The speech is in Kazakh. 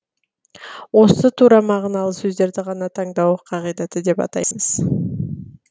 осы тура мағыналы сөздерді ғана таңдау қағидаты деп атаймыз